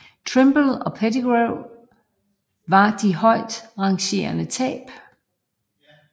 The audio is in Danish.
Trimble og Pettigrew var de højestrangerende tab